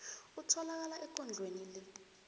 otholakala ekondlweni le